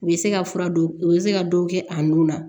U bɛ se ka fura don u bɛ se ka dɔ kɛ a nun na